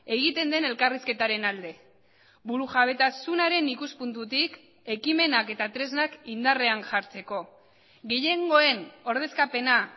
egiten den elkarrizketaren alde burujabetasunaren ikuspuntutik ekimenak eta tresnak indarrean jartzeko gehiengoen ordezkapena